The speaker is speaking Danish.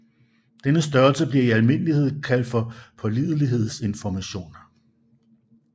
Denne størrelse bliver i almindelighed kaldt for pålidelighedsinformation